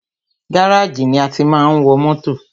Gáràjì ni a tí máa ń wọ mótò.